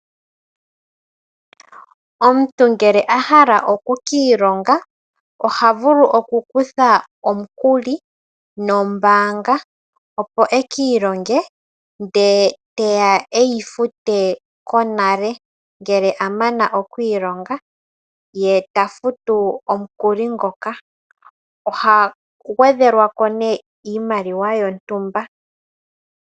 Omuntu ngele a hala oku kiilonga ohaku tha omukuli nombaanga opo ekiilonge ndele teya eyi fute konale ngele a mana okwiilonga ye ta futu omukuli ngoka. Oha gwedhelwa ko nee iimaliwa yontumba.